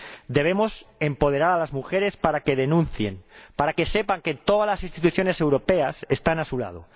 Debemos empoderar a las mujeres para que denuncien, para que sepan que todas las instituciones europeas están a su lado.